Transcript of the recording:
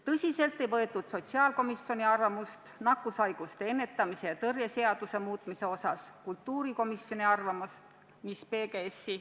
Tõsiselt ei võetud sotsiaalkomisjoni arvamust nakkushaiguste ennetamise ja tõrje seaduse muutmise osas ega kultuurikomisjoni arvamust, mis puudutas PGS-i.